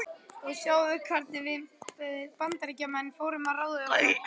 Og sjáðu hvernig við Bandaríkjamenn fórum að ráði okkar.